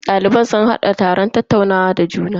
Daliban sun hada taron tattaunawa da juna.